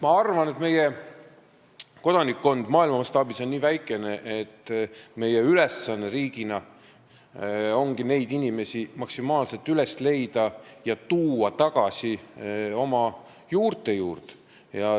Ma arvan, et meie kodanikkond on maailma mastaabis nii väikene, et meie ülesanne riigina ongi neid inimesi maksimaalselt üles otsida ja tuua tagasi oma juurte juurde.